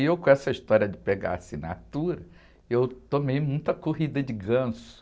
E eu com essa história de pegar assinatura, eu tomei muita corrida de ganso.